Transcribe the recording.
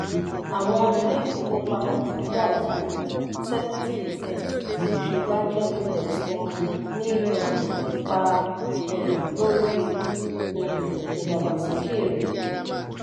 àwọn ilé-ìfowópamọ́ fugaz ju seventy percent ti nse banking index wọ́n ní um ipa um lórí um ìdàgbàsókè rẹ.